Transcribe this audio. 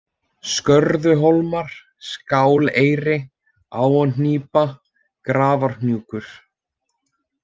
Skörðuhólmar, Skáleyri, Háanípa, Grafarhnúkur